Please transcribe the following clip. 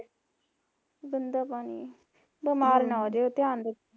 ਗੰਦਾ ਪਾਣੀ ਹਮ ਬੀਮਾਰ ਨਾ ਹੋ ਜੀਓ ਧਿਆਨ ਰੱਖੋ